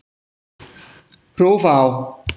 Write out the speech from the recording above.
Hrófá